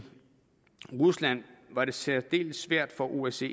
rusland var det særdeles svært for osce